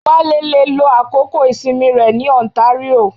Wale le lo àkókò ìsinmi rẹ ní ontario